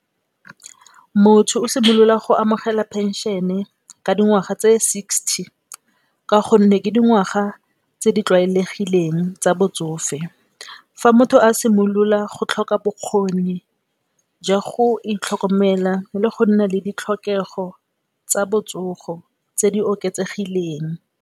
Motho o simolola go amogela phenšene ka dingwaga tse sixty ka gonne, ke dingwaga tse di tlwaelegileng tsa botsofe. Fa motho a simolola go tlhoka bokgone jwa go itlhokomela le go nna le ditlhokego tsa botsogo tse di oketsegileng.